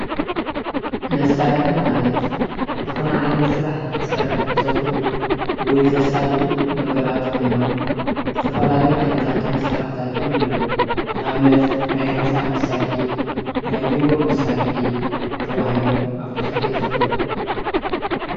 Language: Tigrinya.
መሳሪሒ ማለት ዝኾነ ዓይነት ስራሕ ንኽትሰርሕ ዘኽእሉ ወይ ዘሳልጡ ነገራት ኾይኖም ዝተፈላለዩ ዓይነትታት መሳርሒታት'ውን ኣለዉ። ንኣብነት ናይ ህንፃ መሳሪሒ ፣ናይ ቢሮ መሳሪሒ ተባሂሎም ኣብ ቡዙሕ ይኽፈሉ።